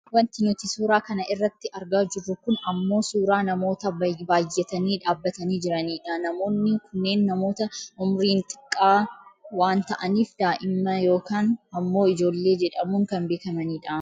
Wanti nuti suuraa kana irratti argaa jirru kun ammoo suuraa namoota baayyatanii dhaabbatanii jiranii dha. Namoonni kunneen namoota umiriin xiqqaa waan ta'aniif daa'ima yookaan ammoo ijoollee jedhamuun kan beekamani dha.